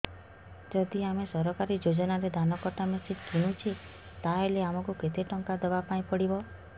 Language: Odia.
ଯଦି ଆମେ ସରକାରୀ ଯୋଜନାରେ ଧାନ କଟା ମେସିନ୍ କିଣୁଛେ ତାହାଲେ ଆମକୁ କେତେ ଟଙ୍କା ଦବାପାଇଁ ପଡିବ